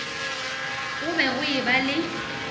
go be go eba le